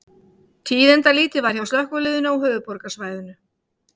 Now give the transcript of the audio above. Tíðindalítið var hjá slökkviliðinu á höfuðborgarsvæðinu